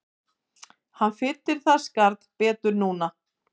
Hann fyllir það skarð betur núna